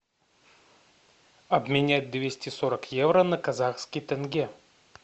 обменять двести сорок евро на казахский тенге